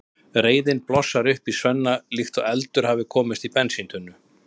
Reiðin blossar upp í Svenna líkt og eldur hafi komist í bensíntunnu.